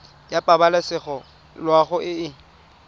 ya pabalesego loago e e